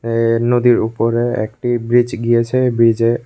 এ নদীর উপরে একটি ব্রীজ গিয়েছে ব্রীজে--